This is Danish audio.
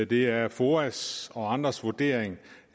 det er foas og andres vurdering